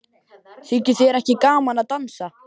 Þykir þér ekki gaman að dansa?